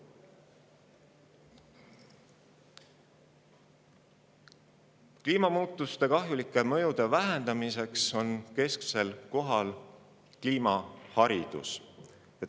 Kliimamuutuste kahjulike mõjude vähendamisel on kesksel kohal kliimaharidus.